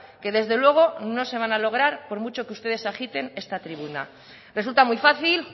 que desde luego no se van a lograr por mucho que ustedes agiten esta tribuna resulta muy fácil